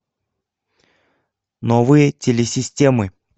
новые телесистемы